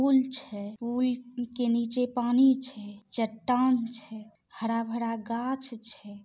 पुल छे पुल के नीचे पानी छे चट्टान छे हरा-भरा गाछ छे।